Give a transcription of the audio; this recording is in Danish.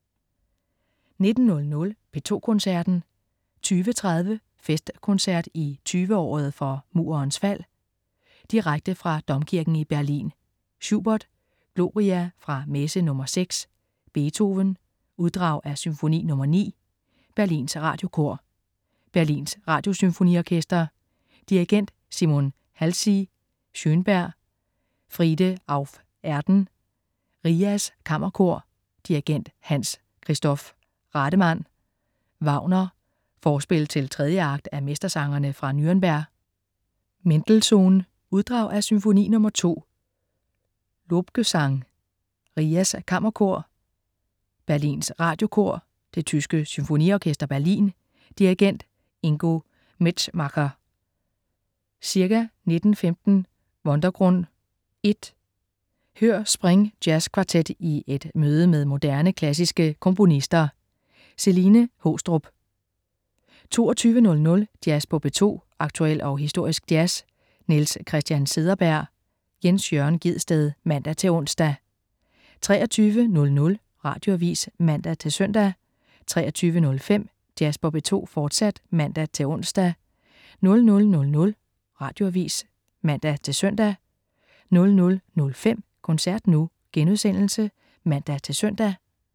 19.00 P2 Koncerten. 20.30 Festkoncert i 20-året for Murens fald. Direkte fra Domkirken i Berlin. Schubert: Gloria fra Messe nr. 6. Beethoven: Uddrag af Symfoni nr. 9. Berlins Radiokor. Berlins Radiosymfoniorkester. Dirigent: Simon Halsey. Schönberg: Friede auf Erden. RIAS Kammerkor. Dirigent: Hans-Christoph Rademann. Wagner: Forspil til 3. akt af Mestersangerne fra Nürnberg. Mendelssohn: Uddrag af Symfoni nr. 2, Lobgesang. RIAS Kammerkor. Berlins Radiokor. Det tyske Symfoniorkester Berlin. Dirigent: Ingo Metzmacher. Ca. 19.15 Wundergrund (1). Hør Spring Jazzkvartet i et møde med moderne klassiske komponister. Celine Haastrup 22.00 Jazz på P2. Aktuel og historisk jazz. Niels Christian Cederberg/Jens Jørn Gjedsted (man-ons) 23.00 Radioavis (man-søn) 23.05 Jazz på P2, fortsat (man-ons) 00.00 Radioavis (man-søn) 00.05 Koncert nu* (man-søn)